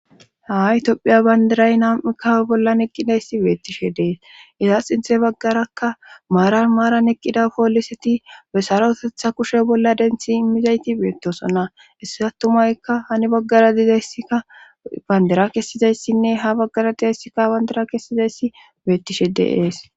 ha tophiya bandiray nam7ikkawe bollan eqqidayssi beettishe dees iza xinte baggarakka maaran maaran eqqida pooliseti be sara otetha kushe bolla denthi immizayti beettosonna issi attumaykka hani baggara dizayssika bandera kessizayssinne ha baggara dizayssikka habandira kessizayssi beettishe de7es